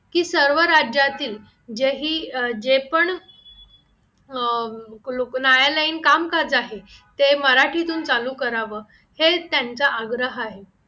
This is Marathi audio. की सर्व राज्यातील जेही जे पण अह न्यायालयीन काम करत आहेत ते मराठीतून चालू करावं हे त्यांच्या आग्रह आहे